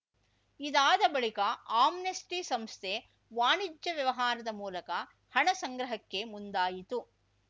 ಇದಾದ ಬಳಿಕ ಆಮ್ನೆಸ್ಟಿ ಸಂಸ್ಥೆ ವಾಣಿಜ್ಯ ವ್ಯವಹಾರದ ಮೂಲಕ ಹಣ ಸಂಗ್ರಹಕ್ಕೆ ಮುಂದಾಯಿತು